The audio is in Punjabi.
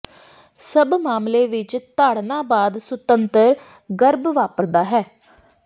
ਸਭ ਮਾਮਲੇ ਵਿੱਚ ਤਾੜਨਾ ਬਾਅਦ ਸੁਤੰਤਰ ਗਰਭ ਵਾਪਰਦਾ ਹੈ